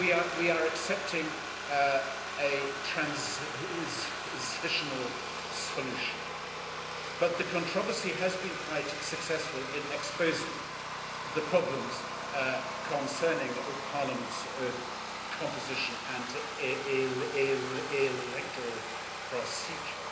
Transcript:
We are accepting a transitional solution, but the controversy has been quite successful in exposing the problems concerning Parliament's composition and electoral procedure.